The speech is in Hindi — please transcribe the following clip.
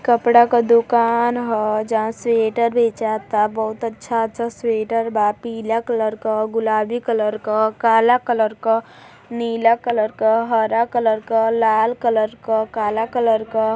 कपड़ा का दुकान ह। जहां स्वेटर भेजाता। बहुत अच्छा अच्छा स्वेटर बा पीला कलर क गुलाबी कलर क काला कलर क नीला कलर क हरा कलर क लाल कलर क काला कलर क।